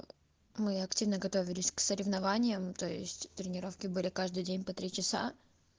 мы активно готовились к соревнованиям то есть тренировки были каждый день по три часа